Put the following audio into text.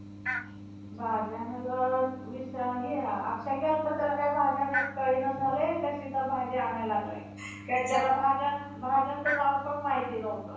डंखिन सुद्धा आपल्या मुलास खात नाही. अशी एक जुनाट म्हण आहे. पुढे त्या वराहाच्या पद्या आईने असे अघोर कर्म केल्यामुळे,